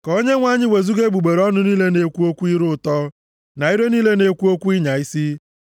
Ka Onyenwe anyị wezuga egbugbere ọnụ niile na-ekwu okwu ire ụtọ na ire niile na-ekwu okwu ịnya isi.